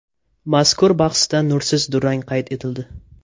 Mazkur bahsda nursiz durang qayd etildi.